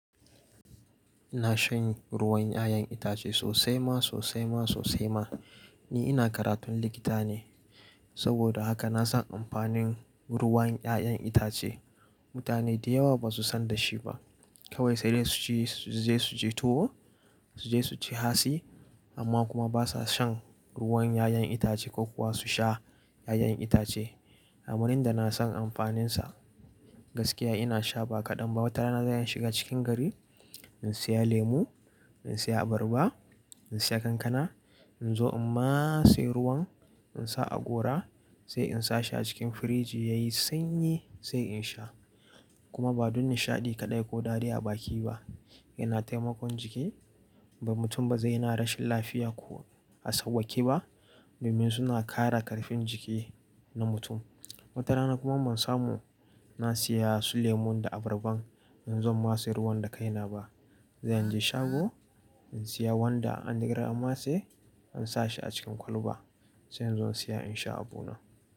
Ina shan ruwan 'ya'yan itace sosai ma sosai ma sosai ma. Ni ina karatun likita ne, saboda haka na san amfanin ruwan 'ya'yan itace. Mutane da yawa ba su san da shi ba. Kawai sai dai su je su ci tuwo, su je su ci hatsi amma kuma ba sa shan ruwan 'ya'yan itace ko kuwa su sha 'ya'yan itace. Kamar yanda na san amfaninsa gaskiya ina sha ba kaɗan ba. Wata rana zan iya shiga cikin gari in saya lemu, in saya abarba, in saya kankana in zo in matse ruwan in sa a gora sai in sa shi a cikin firiji ya yi sanyi sai in sha. Kuma ba don nishaɗi kaɗai ko daɗi a baki ba, yana taimakon jiki. Ba mutum ba zai yana rashin lafiya ko a sauƙaƙe ba domin suna kare karfin jiki na mutum. Watana kuma ban samu na saya su lemun da abarban in zo in matse ruwan da kaina ba, zan je shago in saya wanda an rigaya an matse in sa shi a cikin kwalba sai in zo in saya in sha abu na.